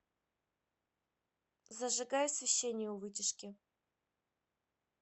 зажигай освещение у вытяжки